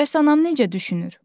Bəs anam necə düşünür?